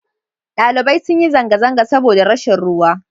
ɗalibai sun yi zanga-zanga saboda rashin ruwa